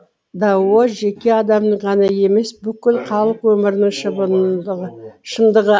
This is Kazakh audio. дао жеке адамның ғана емес бүкіл халық өмірінің шындығы